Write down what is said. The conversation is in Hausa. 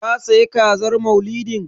Ka sayi Kazar Maulidin?